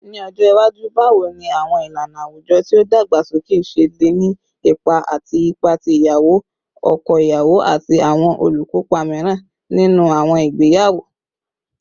Ni ọjọ iwaju, bawo ni awọn ilana awujọ ti o dagbasoke ṣe le ni ipa ati ipa ti iyawo, ọkọ iyawo, ati awọn olukopa miiran ninu awọn igbeyawo?